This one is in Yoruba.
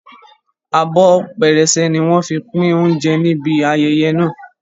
Abọ́ pẹrẹsẹ ni wọ́n fi pín oúnjẹ níbi ayẹyẹ náà